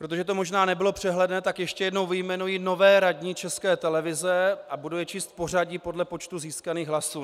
Protože to možná nebylo přehledné, tak ještě jednou vyjmenuji nové radní České televize, a budu je číst v pořadí podle počtu získaných hlasů.